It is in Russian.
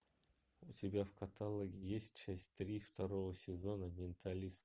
у тебя в каталоге есть часть три второго сезона менталист